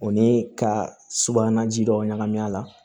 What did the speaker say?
O ni ka subahana ji dɔ ɲagami a la